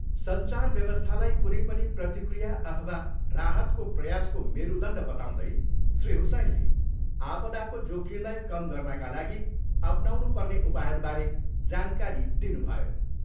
सञ्चार व्यवस्थालाई कुनै पनि प्रतिक्रिया अथवा राहतको प्रयासको मेरुदण्ड बताउँदै श्री हुसैनले आपदाको जोखिमलाई कम गर्नाका लागि अपनाउनुपर्ने उपायहरूबारे जानकारी दिनुभयो।